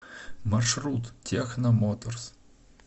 маршрут техно моторс